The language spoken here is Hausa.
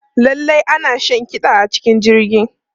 Lallai ana shan kiɗa a cikin jirgi.